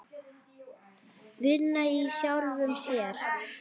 Vinna í sjálfum sér.